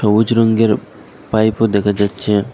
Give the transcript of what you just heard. অজ রংয়ের পাইপও দেখা যাচ্ছে।